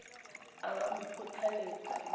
a be a mo kgothaletse